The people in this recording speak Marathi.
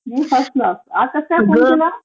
मी फर्स्ट क्लास.आज कसा काय फोन केलास?